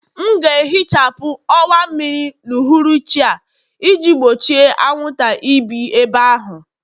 M ga-ehichapụ ọwa mmiri n'uhuruchi a iji gbochie anwụnta ibi ebe ahụ